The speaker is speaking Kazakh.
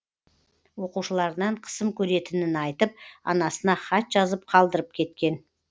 оқушыларынан қысым көретінін айтып анасына хат жазып қалдырып кеткен